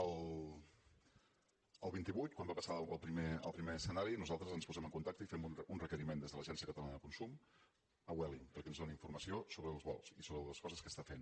el vint vuit quan va passar el primer escenari nosaltres ens posem en contacte i fem un requeriment des de l’agència catalana de consum a vueling perquè ens doni informació sobre els vols i sobre les coses que està fent